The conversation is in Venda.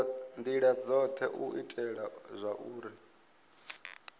ndila dzothe u itela zwauri